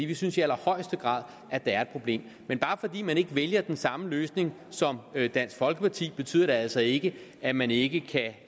vi synes i allerhøjeste grad at der er et problem men bare fordi man ikke vælger den samme løsning som dansk folkeparti betyder det altså ikke at man ikke kan